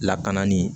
Lakana ni